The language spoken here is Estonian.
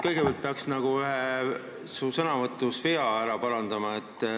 Kõigepealt peaks ära parandama vea su sõnavõtus.